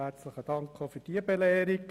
Herzlichen Dank auch für diese Belehrung.